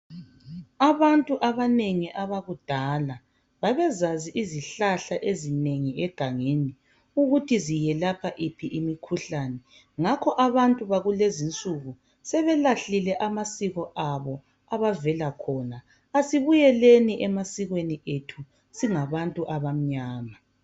Abantu abanengi abakudala, babezazi izihlahla ezinengi egangeni ukuthi ziyelapha yiphi imikhuhlane. Ngakho abantu bakulezi'nsuku sebelahlile amasiko abo abavela khona. Asibuyeleni emasikweni ethu singabantu abamnyama.